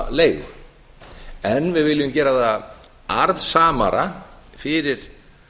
langtímaleigu en við viljum gera það arðsamara fyrir